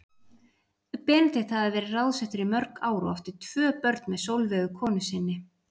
Benedikt hafði verið ráðsettur í mörg ár og átti tvö börn með Sólveigu konu sinni.